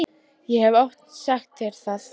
Ég hef oft sagt þér það.